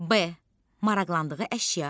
B maraqlandığı əşya.